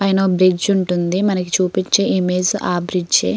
పైన ఒక బ్రిడ్జ్ ఉంటుంది మనకి చూపించే ఇమేజ్ ఆ బ్రిడ్జి ఏ .